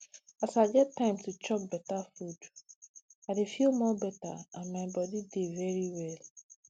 as i get time to dey chop better food i dey feel more better and my body dey very well